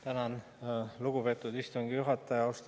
Tänan, lugupeetud istungi juhataja!